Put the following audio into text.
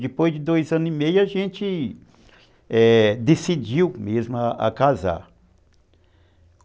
Depois de dois anos e meio, a gente, é, decidimos mesmo nos casarmos.